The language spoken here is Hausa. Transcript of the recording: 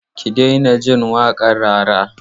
Ki daina jin waƙar Rara!